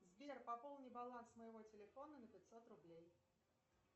сбер пополни баланс моего телефона на пятьсот рублей